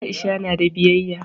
Aisha na da biyayya